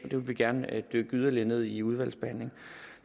det vil vi gerne dykke yderligere ned i i udvalgsbehandlingen